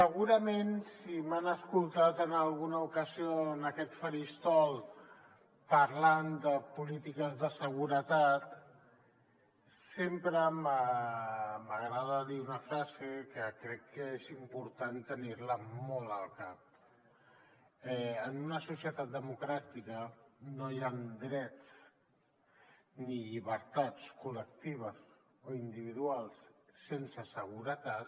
segurament si m’han escoltat en alguna ocasió en aquest faristol parlant de polítiques de seguretat sempre m’agrada dir una frase que crec que és important tenir la molt al cap en una societat democràtica no hi han drets ni llibertats col·lectives o individuals sense seguretat